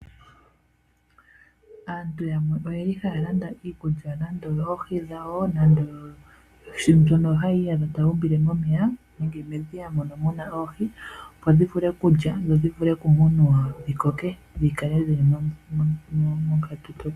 Aantu yamwe oyeli haya landa iikulya nande oyo oohi dhawo nando. Mbyono hayi iyadha tayeyi umbile momeya nenge nedhi mono muna oohi. Opo dhi vulu kulya dho dhivule ku munwa dhikoke.